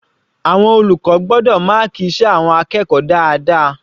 Àwọn olùkọ́ gbọ́dọ̀ máàkì iṣẹ́ àwọn akẹ́kọ̀ọ́ dáadáa.